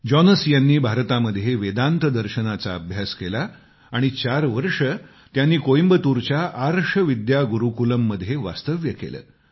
Jonas यांनी भारतामध्ये वेदांत तत्त्वज्ञानाचा अभ्यास केला आणि चार वर्षे त्यांनी कोइंबतूरच्या आर्ष विद्या गुरूकुलममध्ये वास्तव्य केलं